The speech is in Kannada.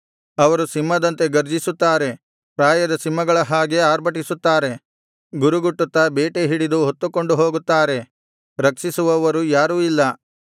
ಅವರು ಸಿಂಹದಂತೆ ಘರ್ಜಿಸುತ್ತಾರೆ ಪ್ರಾಯದ ಸಿಂಹಗಳ ಹಾಗೆ ಆರ್ಭಟಿಸುತ್ತಾರೆ ಗುರುಗುಟ್ಟುತ್ತಾ ಬೇಟೆ ಹಿಡಿದು ಹೊತ್ತುಕೊಂಡು ಹೋಗುತ್ತಾರೆ ರಕ್ಷಿಸುವವರು ಯಾರೂ ಇಲ್ಲ